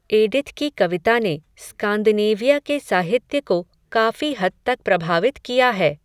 Edith की कविता ने, स्कान्दिनेविया के साहित्य को, काफ़ी हद तक प्रभावित किया है